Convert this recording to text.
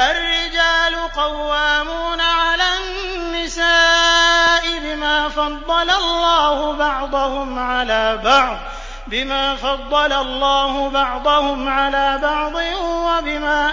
الرِّجَالُ قَوَّامُونَ عَلَى النِّسَاءِ بِمَا فَضَّلَ اللَّهُ بَعْضَهُمْ عَلَىٰ بَعْضٍ وَبِمَا